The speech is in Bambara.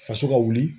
Faso ka wuli